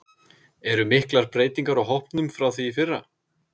Eru miklar breytingar á hópnum frá því í fyrra?